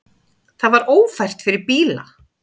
Það var ófært fyrir bíla.